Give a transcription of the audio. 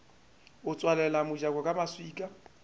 a tswalela mojako ka maswika